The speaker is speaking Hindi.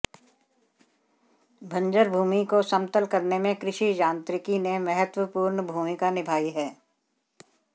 बंजर भूमि को समतल करने में कृषि यांत्रिकी ने महत्वपूर्ण भूमिका निभाई है